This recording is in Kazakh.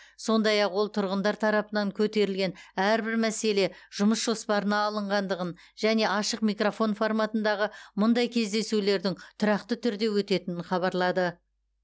сондай ақ ол тұрғындар тарапынан көтерілген әрбір мәселе жұмыс жоспарына алынғандығын және ашық микрофон форматындағы мұндай кездесулердің тұрақты түрде өтетінін хабарлады